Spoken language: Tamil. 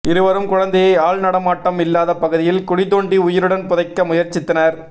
இருவரும் குழந்தையை ஆள் நடமாட்டம் இல்லாத பகுதியில் குழி தோண்டி உயிருடன் புதைக்க முயற்சித்தனர்